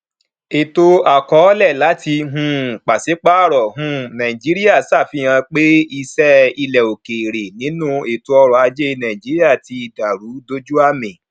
ètò àkọọlẹ láti um pàṣípàrọ um nàìjíríà ṣàfihàn pé ìṣe ilẹ òkèèrè nínú ètò ọrọ ajé nàìjíríà tí dàrú dójú àmì